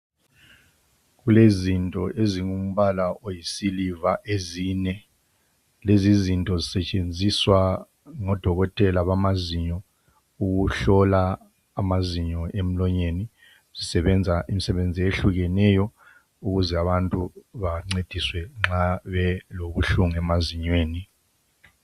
Kulezinto ezingumbala oyisiliva ezine. Lezizinto zisetshenziswa ngodokotela bamazinyo ukuhlola amazinyo emlonyeni. Zisebenza imsebenzi eyehlukeneyo ukuze abantu bancediswe nxa belobuhlungu emazinyweni.